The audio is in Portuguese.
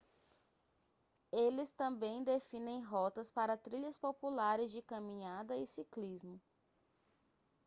eles também definem rotas para trilhas populares de caminhada e ciclismo